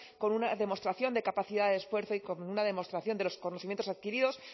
con una demostración de capacidad esfuerzo y con una demostración de los conocimientos adquiridos